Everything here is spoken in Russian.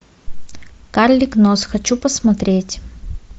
карлик нос хочу посмотреть